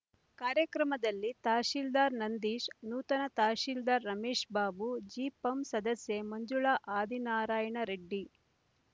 ಕಾರ್ಯಕ್ರಮದಲ್ಲಿ ತಹಶೀಲ್ದಾರ್ ನಂದೀಶ್ ನೂತನ ತಹಶೀಲ್ದಾರ್ ರಮೇಶ್‍ಬಾಬು ಜಿಪಂ ಸದಸ್ಯೆ ಮಂಜುಳಾ ಆದಿನಾರಾಯಣರೆಡ್ಡಿ